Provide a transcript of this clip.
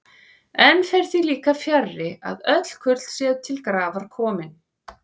Enn fer því líka fjarri, að öll kurl séu til grafar komin.